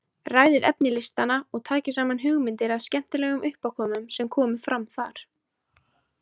Ræðið efni listanna og takið saman hugmyndir að skemmtilegum uppákomum sem komu fram þar.